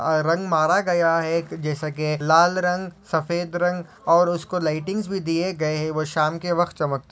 और रंग मारा गया है जैसा की लाल रंग सफ़ेद रंग और उसको लाइटिंग्स भी दिये गए है वो शाम के वक्त चमकता--